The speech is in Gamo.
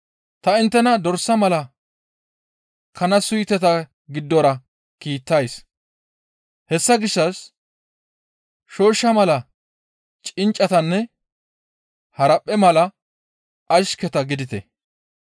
«Ta inttena dorsa mala kana suyteta giddora kiittays. Hessa gishshas shooshsha mala cinccatanne haraphphe mala ashketa gidite.